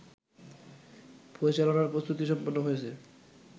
পরিচালনার প্রস্তুতি সম্পন্ন হয়েছে